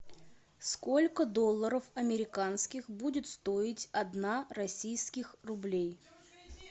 сколько долларов американских будет стоить одна российских рублей